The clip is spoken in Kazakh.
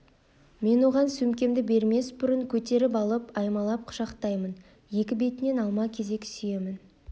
мен оған сөмкемді бермес бұрын көтеріп алып аймалап құшақтаймын екі бетінен алма-кезек сүйемін